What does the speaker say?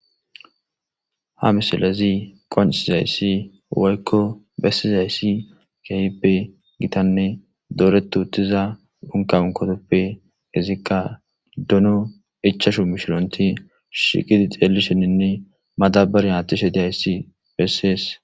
Hamisiley qoncisizayis woyiko besizayis kehipe gitane doret utiza uniqa anikotape izika dono ichashu mishiront shiqid xelishenine madabariyan athishe de7izayis beses.